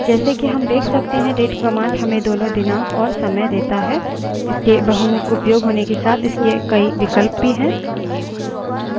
जैसे कि हम देख सकते हैं date command हमें दोनों दिनांक और समय देता है इसके बहुमुख उपयोग होने के साथ इसके कई विकल्प भी हैं